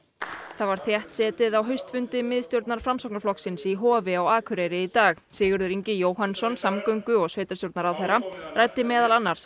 það var þéttsetið á haustfundi miðstjórnar Framsóknarflokksins í Hofi á Akureyri í dag Sigurður Ingi Jóhannsson samgöngu og sveitarstjórnarráðherra ræddi meðal annars